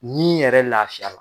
Nin yɛrɛ laafiya.